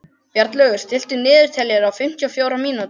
Bjarnlaugur, stilltu niðurteljara á fimmtíu og fjórar mínútur.